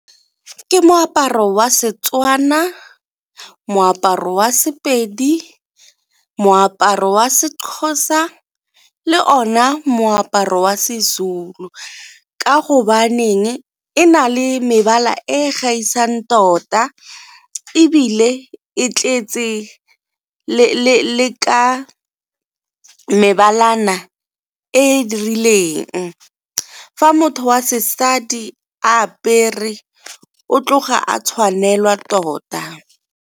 Ke moaparo wa Setswana, moaparo wa Sepedi, moaparo wa seXhosa le ona moaparo wa seZulu. Ka go baneng e na le mebala e gaisang tota ebile e tletse le ka mebalana e dirileng, fa motho wa sesadi a apere o tloga a tshwanelwa tota.